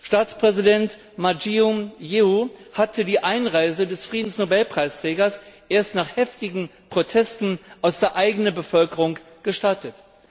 Staatspräsident Ma Ying jeou hatte die Einreise des Friedensnobelpreisträgers erst nach heftigen Protesten aus der eigenen Bevölkerung gestattet.